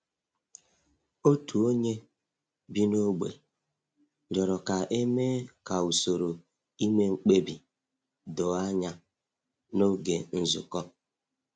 Otu onye bi n’ógbè rịọrọ ka e mee ka usoro ime mkpebi doo anya n’oge nzukọ.